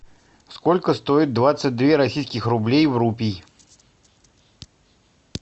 сколько стоит двадцать две российских рублей в рупии